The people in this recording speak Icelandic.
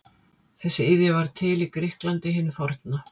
Þessi iðja varð til í Grikklandi hinu forna.